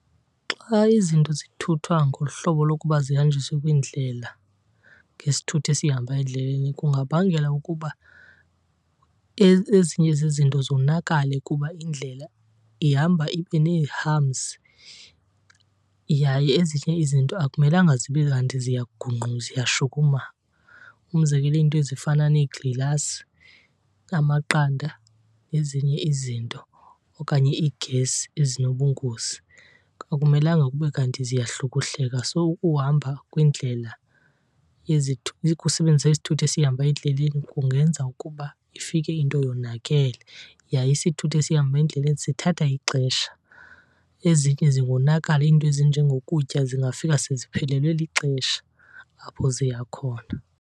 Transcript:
Xa izinto zithuthwa ngohlobo lokuba zihanjiswe kwiindlela ngesithuthi esihamba endleleni kungabangela ukuba ezinye zezinto zonakale kuba indlela ihamba ibe nee-humps. Yaye ezinye izinto akumelanga zibe kanti ziyashukuma. Umzekelo, iinto ezifana neegilasi, amaqanda nezinye izinto okanye iigesi ezinobungozi akumelanga kube kanti ziyahlukuhleka. So ukuhamba kwindlela , ukusebenzisa isithuthi esihamba endleleni kungenza ukuba ifike into yonakele. Yaye isithuthi esihamba endleleni sithatha ixesha, ezinye zingonakala, iinto ezinjengokutya zingafika seziphelelwe lixesha apho ziya khona.